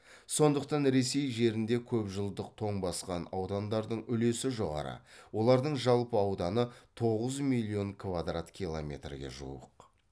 сондықтан ресей жерінде көпжылдық тоң басқан аудандардың үлесі жоғары олардың жалпы ауданы тоғыз миллион квадрат километрге жуық